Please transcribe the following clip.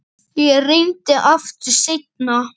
Ég reyni aftur seinna